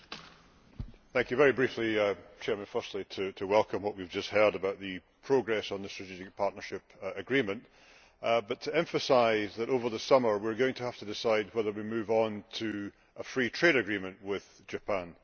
Mr President, very briefly, firstly to welcome what we have just heard about the progress on the strategic partnership agreement, but to emphasise that over the summer we are going to have to decide whether we move on to a free trade agreement with Japan.